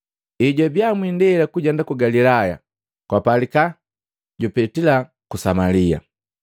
Ejwabiya mwiindela kujenda ku Galilaya kwapalika jupetila ku Samalia.